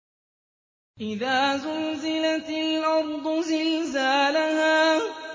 إِذَا زُلْزِلَتِ الْأَرْضُ زِلْزَالَهَا